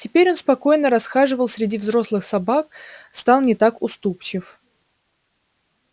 теперь он спокойно расхаживал среди взрослых собак стал не так уступчив